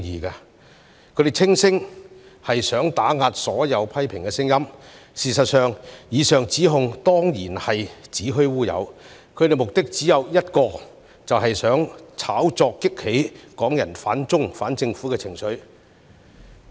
他們聲稱此舉是想打壓所有批評的聲音，事實上，以上指控當然是子虛烏有，他們的目的只有一個，就是想透過炒作激起港人反中、反政府的情緒。